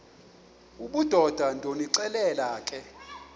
obudoda ndonixelela ke